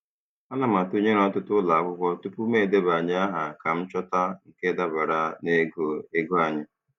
Ana m atụnyere ọtụtụ ụlọ akwụkwọ tupu m edebanye aha ka m chọta nke dabara n'ogo ego anyị.